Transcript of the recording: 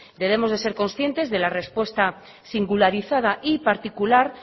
debemos ser conscientes de la respuesta singularizada y particular